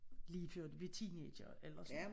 Lige før de blev teenagere eller sådan noget